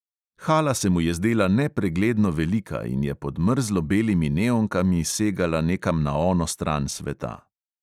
Hala se mu je zdela nepregledno velika in je pod mrzlo belimi neonkami segala nekam na ono stran sveta.